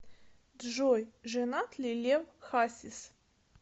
джой женат ли лев хасис